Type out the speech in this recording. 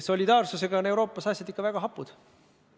Solidaarsusega on Euroopas asjad ikka väga hapud.